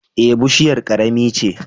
Eh, bushiyar ƙarami ce.